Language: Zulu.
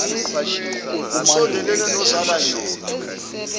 usondelene nozola nyoka